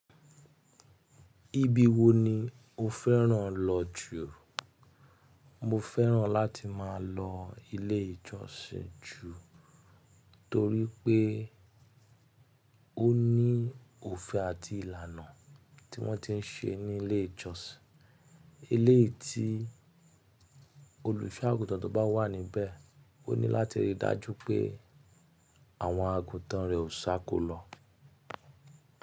Ibi wo ni o fẹ́ràn lọ jù? Mo fẹ́ràn láti máa lọ ilé ìjọsìn jù torí pé ó ní òfin àti ìlànà tí wọ́n ti ń ṣe ní ilé ìjọsìn. Eléyìí tí olùṣọ́ àgùntàn tó bá wà níbẹ̀, ó ní láti rí i dájú pé àwọn àgùntàn rẹ̀ ò sákó lọ.